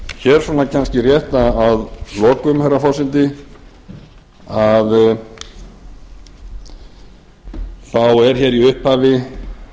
hér kemst ég rétt að lokum herra forseti þá er hér í upphafi